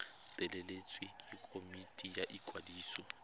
letleletswe ke komiti ya ikwadiso